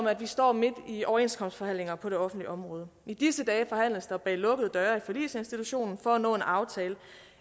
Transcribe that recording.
at vi står midt i overenskomstforhandlinger på det offentlige område i disse dage forhandles der bag lukkede døre i forligsinstitutionen for at nå en aftale